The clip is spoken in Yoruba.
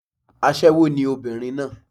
Aṣẹ́wó ni obìnrin náà